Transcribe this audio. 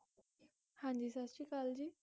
ਹਾਂਜੀ ਸਤ ਸ਼੍ਰੀ ਅਕਾਲ ਜੀ